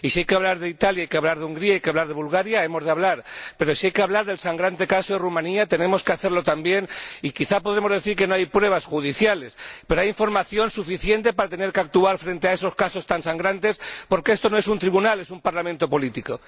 Y si hay que hablar de Italia, de Hungría y de Bulgaria, hemos de hablar, pero si hay que hablar del sangrante caso de Rumanía, tenemos que hacerlo también y, quizás, podemos decir que no hay pruebas judiciales, pero hay información suficiente para tener que actuar frente a esos casos tan sangrantes, porque esto no es un tribunal, es un parlamento político.